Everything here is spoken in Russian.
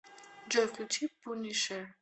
джой включи пунишер